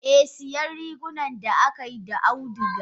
Eh siya rigunan da akaiyi da auduga.